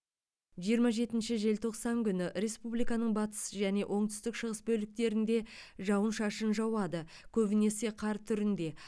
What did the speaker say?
жиырма жетінші желтоқсан күні республиканың батыс және оңтүстік шығыс бөліктерінде жауын шашын жауады көбінесі қар түрінде